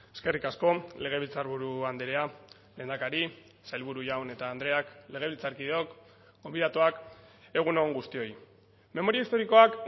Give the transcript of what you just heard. eskerrik asko legebiltzarburu andrea lehendakari sailburu jaun eta andreak legebiltzarkideok gonbidatuak egun on guztioi memoria historikoak